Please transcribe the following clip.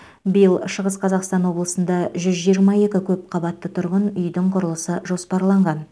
биыл шығыс қазақстан облысында жүз жиырма екі көпқабатты тұрғын үйдің құрылысы жоспарланған